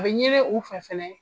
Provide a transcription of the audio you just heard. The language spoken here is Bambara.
A ɲini u fɛ fana